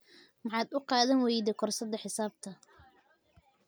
Maxaad u qaadan wayday koorsada xisaabta?